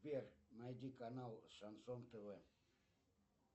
сбер найди канал шансон тв